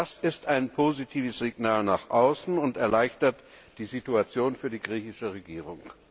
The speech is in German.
Das ist ein positives Signal nach außen und erleichtert die Situation für die griechische Regierung.